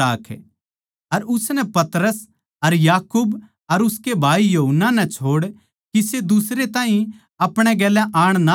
अर उसनै पतरस अर याकूब अर उसकै भाई यूहन्ना नै छोड़ दुसरै किसे ताहीं आपणे गेल्या आण ना दिया